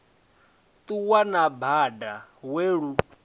ṱuwa na bada we lu